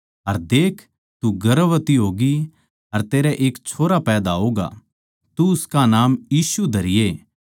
अर देख तू गर्भवती होगी अर तेरै एक छोरा पैदा होगा तू उसका नाम यीशु धरिये